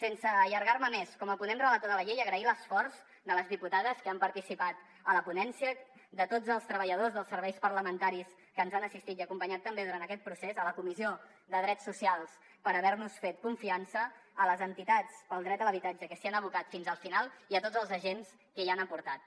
sense allargar me més com a ponent relator de la llei agrair l’esforç a les diputades que han participat en la ponència a tots els treballadors dels serveis parlamentaris que ens han assistit i acompanyat també en aquest procés a la comissió de drets socials per haver nos fet confiança a les entitats pel dret a l’habitatge que s’hi han abocat fins al final i a tots els agents que hi han fet aportacions